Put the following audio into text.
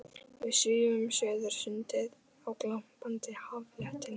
Við svífum suður sundið á glampandi haffletinum.